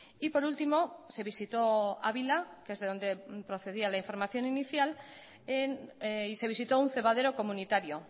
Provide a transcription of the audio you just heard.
y por último se visitó ávila que es de donde procedía la información inicial y se visitó un cebadero comunitario